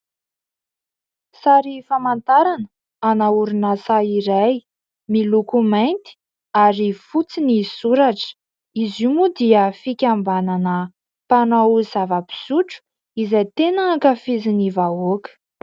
Sary famantarana ana orinasa iray, miloko mainty ary fotsy ny soratra. Izy io moa dia fikambanana mpanao zava-pisotro izay tena ankafizin'ny vahoaka.